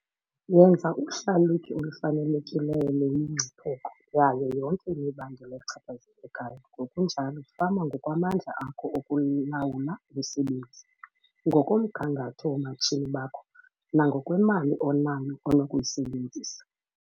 Yenza uhlalutyo olufanelekileyo lwemingcipheko yayo yonke imibandela echaphazelekayo ngokunjalo fama ngokwamandla akho okulawula umsebenzi, ngokomgangatho woomatshini bakho nangokwemali onayo onokuyisebenzisa.